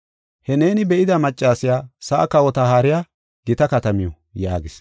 He neeni be7ida maccasiya sa7a kawota haariya gita katamiw” yaagis.